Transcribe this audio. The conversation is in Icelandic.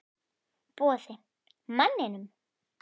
Boði: Manninum?